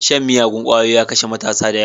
Shan miyagun kwayoyi ya kashe matasa da yawa.